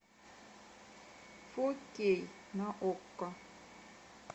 фо кей на окко